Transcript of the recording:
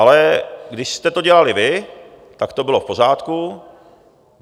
Ale když jste to dělali vy, tak to bylo v pořádku.